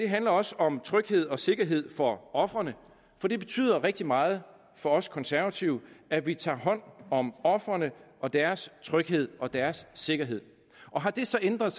handler også om tryghed og sikkerhed for ofrene for det betyder rigtig meget for os konservative at vi tager hånd om ofrene og deres tryghed og deres sikkerhed og har det så ændret